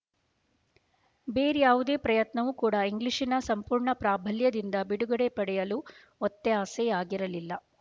ಬೇರ್ಯಾವುದೇ ಪ್ರಯತ್ನವು ಕೂಡ ಇಂಗ್ಲಿಶಿನ ಸಂಪೂರ್ಣ ಪ್ರಾಬಲ್ಯದಿಂದ ಬಿಡುಗಡೆ ಪಡೆಯಲು ಒತ್ತಾಸೆಯಾಗಿರಲಿಲ್ಲ